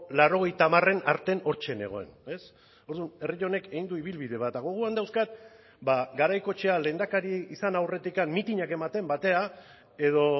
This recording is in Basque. laurogeita hamaren artean hortxe nengoen ez orduan herri honek egin du ibilbide bat eta gogoan dauzkat ba garaikoetxea lehendakari izan aurretik mitinak ematen batera edo